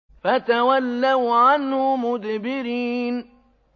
فَتَوَلَّوْا عَنْهُ مُدْبِرِينَ